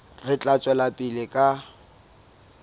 re tla tswela pele ka